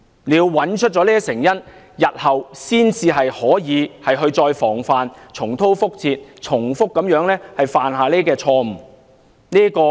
只有找出這些成因，才可以防範日後重蹈覆轍、避免重複犯下這些錯誤。